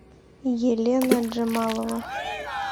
елена джамалова